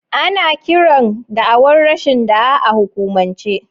Ana kiran da'awar rashin da'a a hukumance.